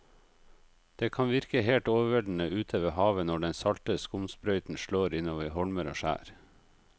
Det kan virke helt overveldende ute ved havet når den salte skumsprøyten slår innover holmer og skjær.